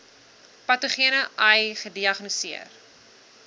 patogene ai gediagnoseer